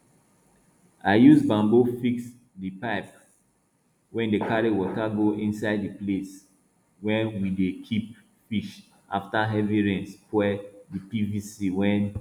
i use bamboo fix di pipe wey dey carry water go inside di place we dey keep fish afta heavy rain spoil di pvc wey